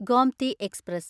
Gomti express